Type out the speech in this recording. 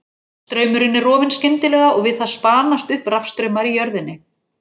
Straumurinn er rofinn skyndilega, og við það spanast upp rafstraumar í jörðinni.